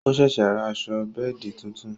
O ṣẹ̀ṣẹ̀ rà aṣọ bẹ́ẹ̀di tuntun